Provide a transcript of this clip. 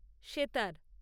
sitar